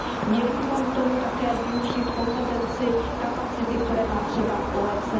Měli bychom k tomu také využít kompetenci, kapacity, které má třeba OECD.